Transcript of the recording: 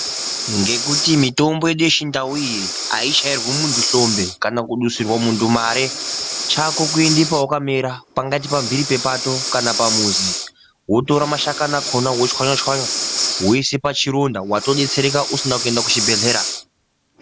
Ngekuti mitombo yedu yechindau iyi aichairwi munthu hlombe kana kudusirwa munthu mare chako kuenda pawakamera pangaita pambhiri pepato kana pamuzi wotora mashakani akhona wochwanya- chwanya wousa pachironda watodetsereka usina kuenda kuchibhedhlera